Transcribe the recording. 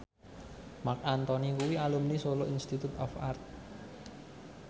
Marc Anthony kuwi alumni Solo Institute of Art